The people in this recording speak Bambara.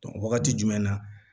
wagati jumɛn na